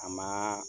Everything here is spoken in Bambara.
A ma